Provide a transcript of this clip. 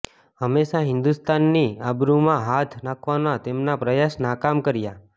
હમેશા હિન્દુસ્તાનની આબરૂમાં હાથ નાખવાના તેમના પ્રયાસ નાકામ કર્યા